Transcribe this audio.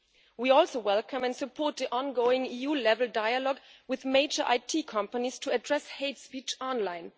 We also welcome and support the ongoing EU level dialogue with major IT companies to address hate speech online.